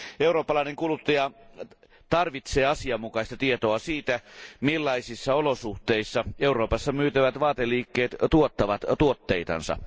Eurooppalainen kuluttaja tarvitsee asianmukaista tietoa siitä, millaisissa olosuhteissa Euroopassa myytävät vaateliikkeet tuottavat tuotteitansa.